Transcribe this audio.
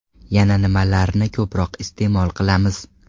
Yana nimalarni ko‘proq iste’mol qilamiz?